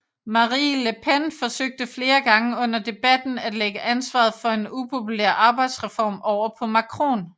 Marine Le Pen forsøgte flere gange under debatten at lægge ansvaret for en upopulær arbejdsreform over på Macron